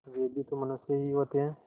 वे भी तो मनुष्य ही होते हैं